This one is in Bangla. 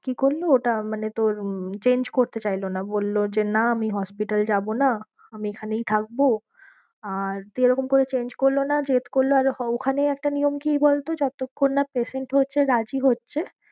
কি করলো ওটা মানে তোর উম change করতে চাইলো না বললো যে না আমি hospital যাবো না আমি এখনই থাকবো। আর দিয়ে এরকম করে change করলো না। আর ওখানে একটা নিয়ম কি বলতো যতক্ষণ না patient হচ্ছে রাজি হচ্ছে